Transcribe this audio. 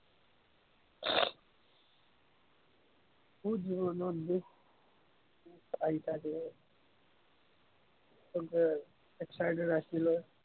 বহুত দুৰত দুৰত bike excited আছিলো।